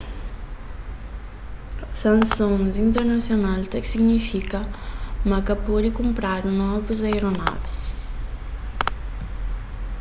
sansons internasional ta signifika ma ka pode kunpradu novus aeronavis